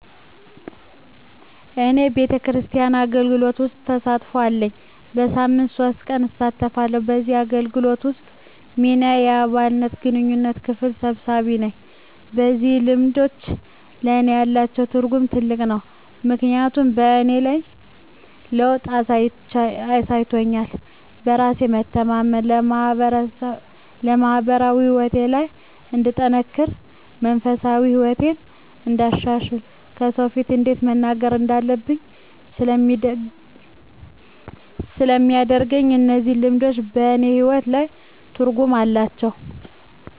እኔ ቤተክርስቲያን አገልግሎት ውስጥ ተሳትፎ አለኝ። በሳምንት ሶስት ቀን እሳተፋለሁ ከዚህ አገልግሎት ውስጥ ሚናየ የአባላት የግንኙነት ክፍል ሰብሳቢ ነኝ። እነዚህ ልምዶች ለእኔ ያላቸው ትርጉም ትልቅ ነው ምክንያቱም በእኔ ላይ ለውጥ አሳይቶኛል በራስ የመተማመን፣ በማህበራዊ ህይወቴ ላይ እንድጠነክር፣ መንፈሳዊ ህይወቴን እንዳሻሽል፣ ከሰው ፊት እንዴት መናገር እንዳለብኝ ስለሚያደርገኝ እነዚህ ልምዶች በእኔ ህይወት ላይ ትርጉም አላቸው።